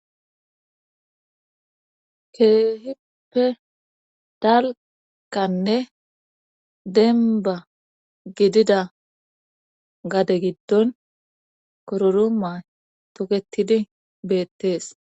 Keehippe dalkanne denba gidida gade giddon kororoma tokketidi beettees.